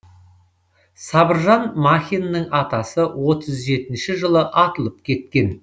сабыржан махиннің атасы отыз жетінші жылы атылып кеткен